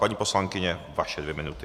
Paní poslankyně, vaše dvě minuty.